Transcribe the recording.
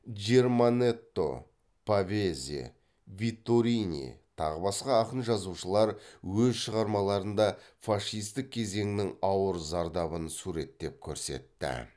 джерманетто павезе витторини тағы басқа ақын жазушылар өз шығармаларында фашистік кезеңнің ауыр зардабын суреттеп көрсетті